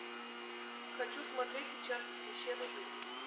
хочу смотреть сейчас священный дым